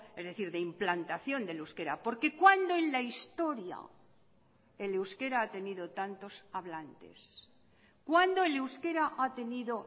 es decir de implantación del euskera porque cuándo en la historia el euskera ha tenido tantos hablantes cuándo el euskera ha tenido